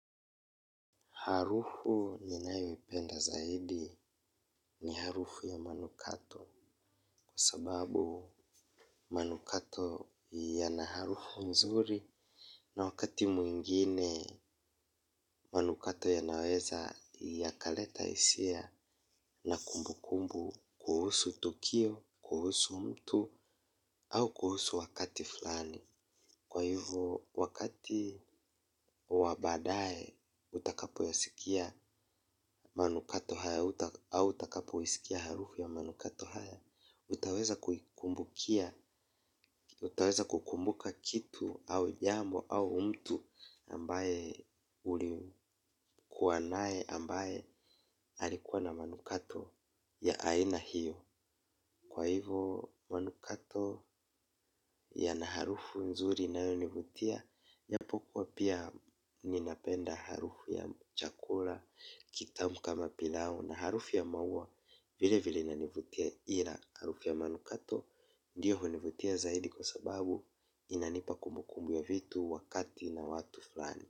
Harufu ninayo ipenda zaidi ni harufu ya manukato kwa sababu manukato yana harufu nzuri na wakati mwingine manukato ya naweza yakaleta hisia na kumbukumbu kuhusu tukio, kuhusu mtu au kuhusu wakati fulani. Kwa hivo wakati wa baadaye utakapo yasikia manukato hayo au utakapo isikia harufu ya manukato haya. Utaweza kukumbuka kitu au jambo au mtu ambaye ulikua naye ambaye alikuwa na manukato ya aina hiyo. Kwa hivo manukato yana harufu nzuri inayonivutia. Japokuwa pia ninapenda harufu ya chakula, kitamu kama pilau na harufu ya maua vile vile inanivutia ila harufu ya manukato ndiyo hunivutia zaidi kwa sababu inanipa kumukumbu ya vitu wakati na watu fulani.